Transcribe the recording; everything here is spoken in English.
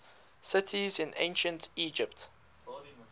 cities in ancient egypt